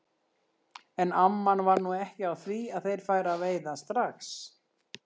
En amman var nú ekki á því að þeir færu að veiða strax.